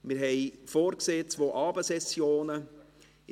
Wir haben zwei Abendsessionen vorgesehen.